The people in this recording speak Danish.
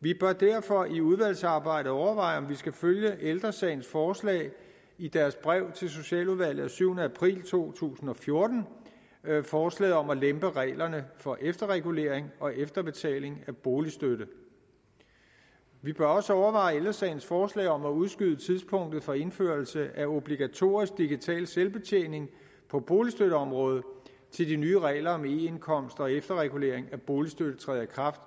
vi bør derfor i udvalgsarbejdet overveje om vi skal følge ældre sagens forslag i deres brev til socialudvalget af syvende april to tusind og fjorten forslaget om at lempe reglerne for efterregulering og efterbetaling af boligstøtte vi bør også overveje ældre sagens forslag om at udskyde tidspunktet for indførelse af obligatorisk digital selvbetjening på boligstøtteområdet til de nye regler om eindkomst og efterregulering af boligstøtte træder i kraft